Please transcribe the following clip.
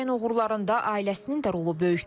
Çiçəyin uğurlarında ailəsinin də rolu böyükdür.